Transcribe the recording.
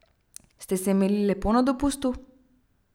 Ste se imeli lepo na dopustu?